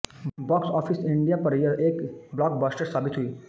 box office India पर यह एक ब्लॉकबस्टर साबित हुई